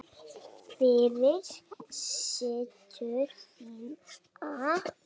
Fyrir systur þína.